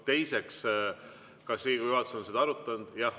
Teiseks, kas Riigikogu juhatus on seda arutanud?